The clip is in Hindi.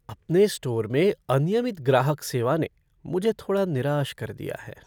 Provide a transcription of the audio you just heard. अपने स्टोर में अनियमित ग्राहक सेवा ने मुझे थोड़ा निराश कर दिया है।